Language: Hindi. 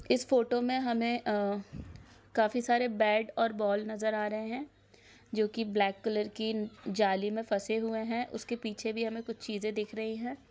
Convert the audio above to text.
इस फोटो मे हमे आ काफी सारे बेट और बोल नजर आ रहे है जोकी ब्लैक कलर की जाली मे फसे हुवे है उस के पीछे भी हमे कुछ चीजे दिख रही है